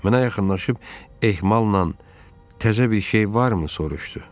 Mənə yaxınlaşıb ehmalnan təzə bir şey varmı soruşdu.